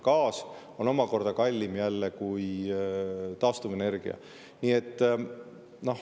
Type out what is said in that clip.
Gaas on omakorda kallim kui taastuvenergia.